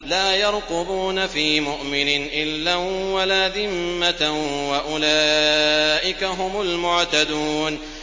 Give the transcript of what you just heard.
لَا يَرْقُبُونَ فِي مُؤْمِنٍ إِلًّا وَلَا ذِمَّةً ۚ وَأُولَٰئِكَ هُمُ الْمُعْتَدُونَ